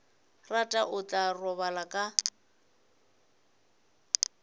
rata o tla robala ka